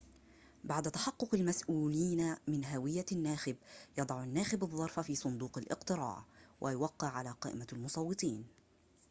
بعد تحقق المسؤولين من هوية الناخب يضع الناخب الظرف في صندوق الاقتراع ويوقع على قائمة المصوتين